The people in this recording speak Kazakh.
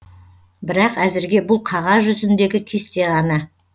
бірақ әзірге бұл қағаз жүзіндегі кесте ғана